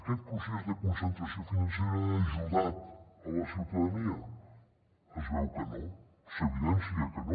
aquest procés de concentració financera ha ajudat la ciutadania es veu que no s’evidencia que no